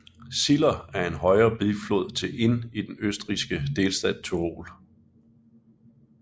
Ziller er en højre biflod til Inn i den østrigske delstat Tyrol